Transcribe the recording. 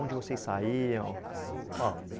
Onde vocês saíam? Ó